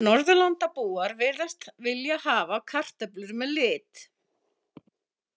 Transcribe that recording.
Norðurlandabúar virðast vilja hafa kartöflur með lit.